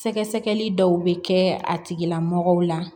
Sɛgɛsɛgɛli dɔw bɛ kɛ a tigilamɔgɔw la